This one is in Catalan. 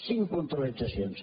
cinc puntualitzacions